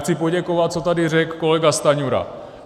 Chci poděkovat, co tady řekl kolega Stanjura.